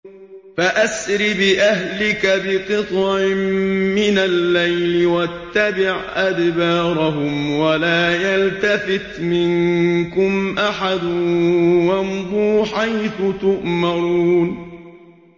فَأَسْرِ بِأَهْلِكَ بِقِطْعٍ مِّنَ اللَّيْلِ وَاتَّبِعْ أَدْبَارَهُمْ وَلَا يَلْتَفِتْ مِنكُمْ أَحَدٌ وَامْضُوا حَيْثُ تُؤْمَرُونَ